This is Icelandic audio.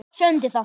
Sjöundi þáttur